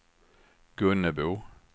Gunnebo